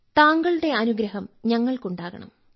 താങ്കളുടെ അനുഗ്രഹം ഞങ്ങൾക്ക് ഉണ്ടാകണം